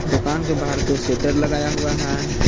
दुकान के बाहर दो शटर लगाया हुआ है।